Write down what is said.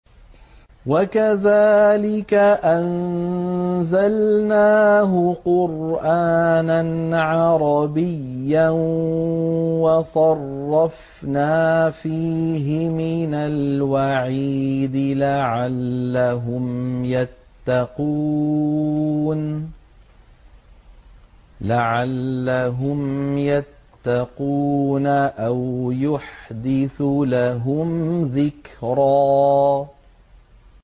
وَكَذَٰلِكَ أَنزَلْنَاهُ قُرْآنًا عَرَبِيًّا وَصَرَّفْنَا فِيهِ مِنَ الْوَعِيدِ لَعَلَّهُمْ يَتَّقُونَ أَوْ يُحْدِثُ لَهُمْ ذِكْرًا